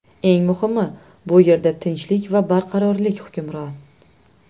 Eng muhimi, bu yerda tinchlik va barqarorlik hukmron.